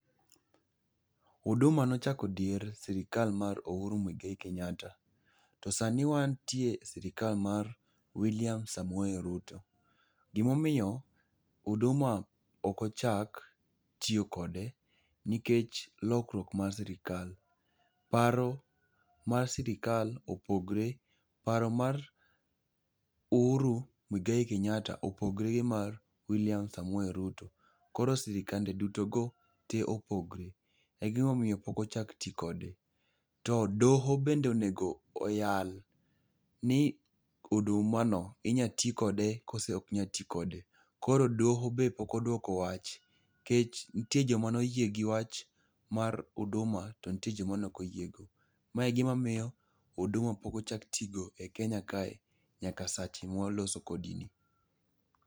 Huduma nochako dier srikal mar Uhuru Muigai Kenyatta to sani wantie e sirikal mar William Samoe Ruto. Gimomiyo Huduma okochak tiyo kode, nikech lokruok mar sirikal. Paro mar sirikal opogre, paro mar Uhuru Muigai Kenyatta opogre gi mar William Samoe Ruto. Koro sirikande duto go te opogore. Egimomiyo pok ochak ti kode. To doho bende onego oyal ni Huduma inya ti kode kose ok nyal ti kode. Koro doho be pok odwoko wach, nikech nitie joma noyie gi wach mar Huduma to nitie jok ma nokoyie go. Ma e gimamiyo Huduma pok ochak ti go e kenya kae nyaka sache mwaloso kodi ni.